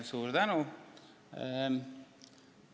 Suur tänu!